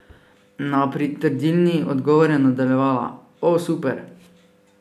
Na pritrdilni odgovor je nadaljevala: 'O super!